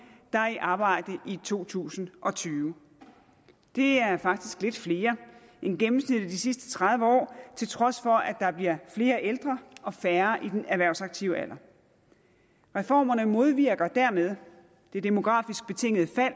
der er i arbejde i to tusind og tyve det er faktisk lidt flere end gennemsnittet de sidste tredive år til trods for at der bliver flere ældre og færre i den erhvervsaktive alder reformerne modvirker dermed det demografisk betingede fald